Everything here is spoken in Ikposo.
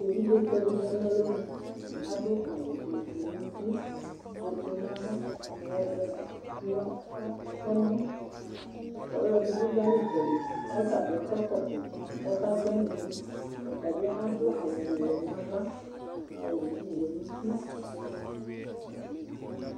Evidze tsɔ di zati nu alɔnu adu awu ɔvɛ nu uti ofue nu ava ɔvɛ nu ɛmɔ ɛdibi zanu itsɛdi ku atani akɔ ɛkɔtɔ ku ɔka gbɔ ɛnayɛ du awu wɛ nu ava awu wɛ nu uti